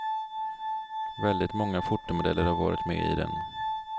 Väldigt många fotomodeller har varit med i den.